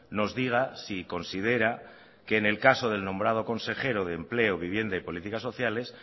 nos diga si considera que en el caso del nombrado consejero de empleo vivienda y política sociales